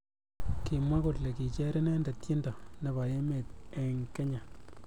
Kimwa kole kicher inendet tiendo nebo emet eng Kenya.